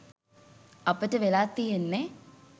අපට වෙලා තියෙන්නෙ